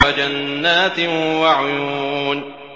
وَجَنَّاتٍ وَعُيُونٍ